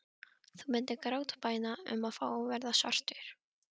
Þú myndir grátbæna um að fá að verða svartur.